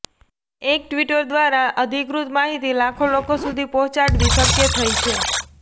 એક ટ્વિટર દ્વારા અધિકૃત માહિતી લાખો લોકો સુધી પહોંચાડવી શક્ય થઇ છે